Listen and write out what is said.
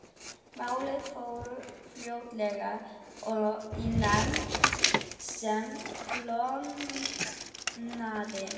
Málið fór fljótlega í nefnd sem klofnaði.